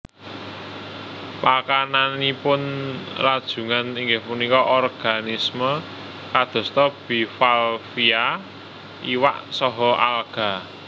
Pakananipun rajungan inggih punika organisme kadosta bivalvia iwak saha alga